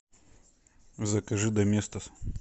закажи доместос